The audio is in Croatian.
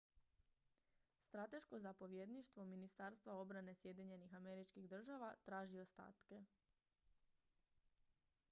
strateško zapovjedništvo ministarstva obrane sjedinjenih američkih država traži ostatke